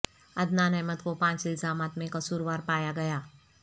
عدنان احمد کو پانچ الزامات میں قصور وار پایا گیا